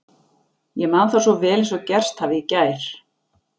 Ég man það svo vel eins og gerst hafi í gær